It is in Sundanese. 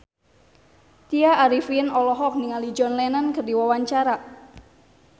Tya Arifin olohok ningali John Lennon keur diwawancara